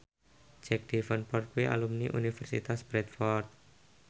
Jack Davenport kuwi alumni Universitas Bradford